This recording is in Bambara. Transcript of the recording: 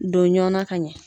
Don ɲɔn na ka ɲɛ.